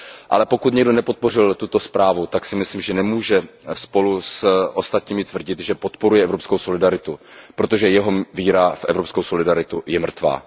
Ale pokud někdo nepodpořil tuto zprávu, tak si myslím, že nemůže spolu s ostatními tvrdit, že podporuje evropskou solidaritu, protože jeho víra v evropskou solidaritu je mrtvá.